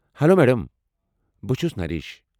Hello madam. بہٕ چھٗس نریش ۔